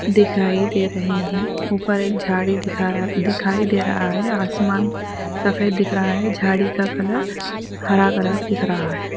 دکھائی دے رہے ہیں اوپر ایک جھاڑی دکھائی دے رہا ہے اسمان سفید دکھ رہا ہے جھاڑی کا کلر ہلا کے خراب ہے.